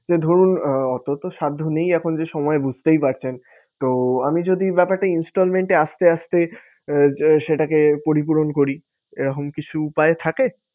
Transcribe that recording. যে ধরুন আহ অত তো সাধ্য নেই এখন যে সময় বুঝতেই পারছেন। তো আমি যদি ব্যাপারটা Installment এ আস্তে আস্তে আহ সেটাকে পরিপূরণ করি এরকম কিছু উপায় থাকে?